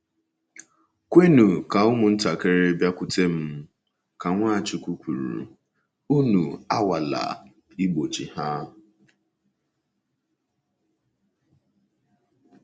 “ Kwenụ ka ụmụntakịrị bịakwute m, ” ka Nwachukwu kwuru, “ unu anwala Igbochi ha. ”